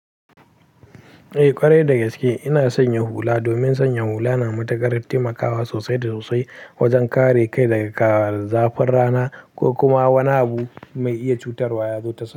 Eh ƙwarai daga gaske ina sanya hula domin sanya hula na matuƙar taimakawa sosai da sosai wajen kare kai daga zafin rana ko kuma wani abu mai iya cutarwa ya zo ta samu.